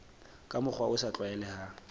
ka mokgwa o sa tlwaelehang